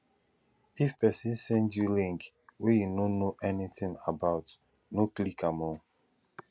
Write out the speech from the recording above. if pesin send you link wey you no know anything about no click am oo